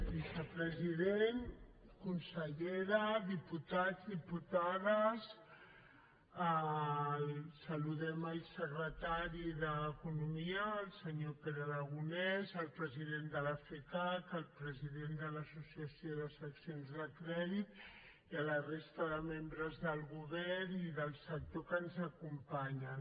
vicepresident consellera diputats diputades saludem el secretari d’economia el senyor pere aragonès el president de la fcac el president de l’associació de seccions de crèdit i la resta de membres del govern i del sector que ens acompanyen